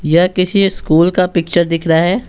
यह किसी स्कूल का पिक्चर दिख रहा है।